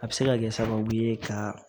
A bɛ se ka kɛ sababu ye ka